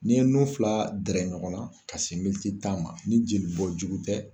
N'i ye nun fila dɛrɛ ɲɔgɔn na ka se militi ma ni jelibɔ jugu tɛ